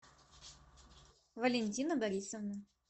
валентина борисовна